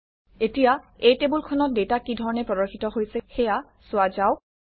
এতিয়া এই টেবুলখনত ডাটা কিধৰণে প্ৰদৰ্শিত হৈছে সেয়া চোৱা যাওক